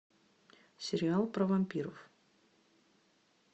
сериал про вампиров